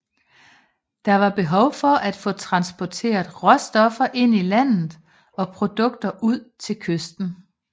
Der var behov for at få transporteret råstoffer ind i landet og produkter ud til kysten